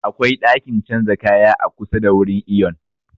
Akwai ɗakin canza kaya a kusa da wurin iyon